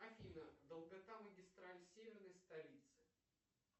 афина долгота магистрали северной столицы